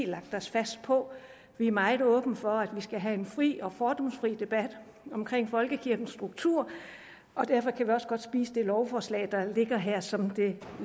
lagt os fast på vi er meget åbne over for at man skal have en fri og fordomsfri debat om folkekirkens struktur og derfor kan godt spise lovforslaget der ligger her som det